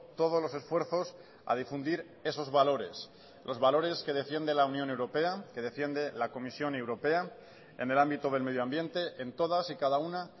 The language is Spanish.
todos los esfuerzos a difundir esos valores los valores que defiende la unión europea que defiende la comisión europea en el ámbito del medio ambiente en todas y cada una